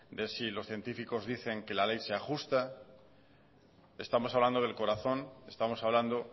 que si los científicos dicen que la ley sea justa estamos hablando del corazón estamos hablando